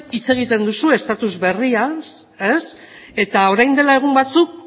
hitz egiten duzue estatus berriaz eta orain dela egun batzuk